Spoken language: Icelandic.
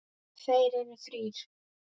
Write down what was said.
Þeir voru þrír.